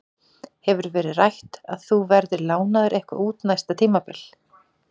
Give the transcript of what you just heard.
Hefur verið rætt að þú verðir lánaður eitthvað út næsta tímabil?